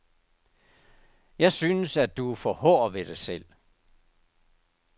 Jeg synes, at du er for hård ved dig selv.